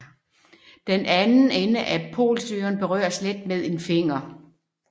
Den anden ende af polsøgeren berøres let med en finger